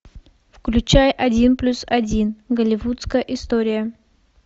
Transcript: включай один плюс один голливудская история